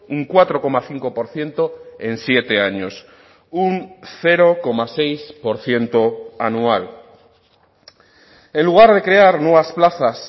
un cuatro coma cinco por ciento en siete años un cero coma seis por ciento anual en lugar de crear nuevas plazas